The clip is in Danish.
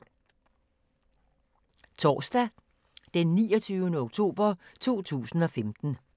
Torsdag d. 29. oktober 2015